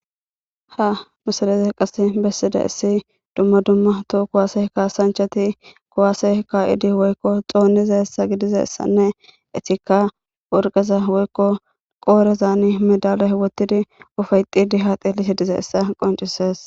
Ha misile qasika besidayisi duma duma toho kuwase kasanchati kuwase kayidi xonidayisa gidizayisanne etika worqaza woyiko qorezan medaliya wotidi ufayixidi ha xelishe dizayisa beses